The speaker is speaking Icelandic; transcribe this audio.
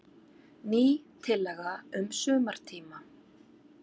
Ný tillaga um sumartíma.